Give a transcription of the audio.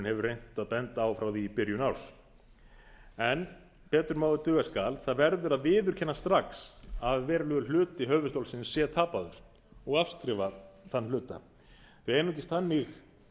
hefur reynt að benda á frá því í byrjun árs en betur má ef duga skal það verður að viðurkenna strax að verulegur hluti höfuðstólsins sé tapaður og afskrifa þann hluta því einungis þannig